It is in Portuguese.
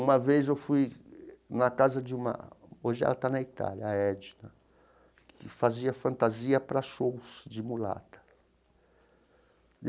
Uma vez eu fui na casa de uma... Hoje ela está na Itália, a Edna, que fazia fantasia para shows de mulata.